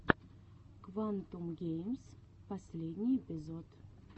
квантум геймс последний эпизод